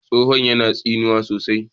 tsohon yana tsinuwa sosai